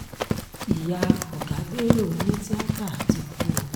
ìyá ọ̀gá bẹ́lò onítìátà ti kú o